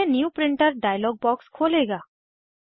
यह new printer dialog box खोलेगा